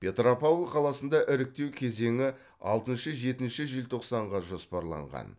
петропавл қаласында іріктеу кезеңі алтыншы жетінші желтоқсанға жоспарланған